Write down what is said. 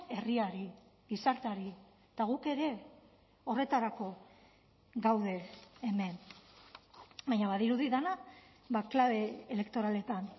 herriari gizarteari eta guk ere horretarako gaude hemen baina badirudi dena klabe elektoraletan